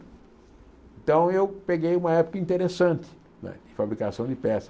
Então, eu peguei uma época interessante né de fabricação de peças.